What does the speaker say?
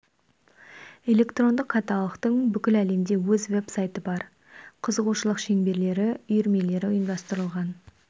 электрондық каталогтың бүкіл әлемде өз веб-сайты бар қызығушылық шеңберлері үйірмелері ұйымдастырылған